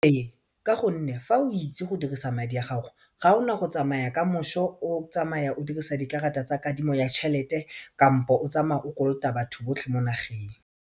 Ee ka gonne fa o itse go dirisa madi a gago ga ona go tsamaya kamošo o tsamaya o dirisa dikarata tsa kadimo ya tšhelete kampo o tsamaya o kolota batho botlhe mo magaeng.